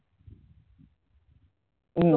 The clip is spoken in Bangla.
উম